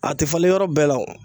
A tɛ falen yɔrɔ bɛɛ la o.